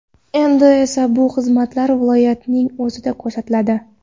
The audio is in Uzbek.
Endi esa bu xizmatlar viloyatning o‘zida ko‘rsatiladi”.